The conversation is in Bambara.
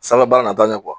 Sanfɛ baara nata ye